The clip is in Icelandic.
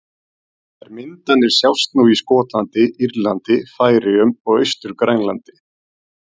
Þær myndanir sjást nú í Skotlandi, Írlandi, Færeyjum og Austur-Grænlandi.